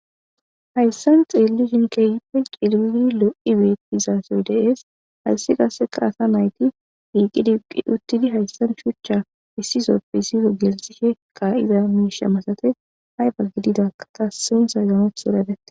Hayssan xeellu sinke yipi cilii lo'i beet dizaasoy deees hayssi qaasseka asa nayti iiqid iqi uttidi hayssan shuchcha issisoppisifo gelsishe ka'iza miisha masate hayba gididakata sintha ganotheredete.